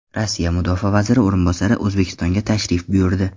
Rossiya mudofaa vaziri o‘rinbosari O‘zbekistonga tashrif buyurdi.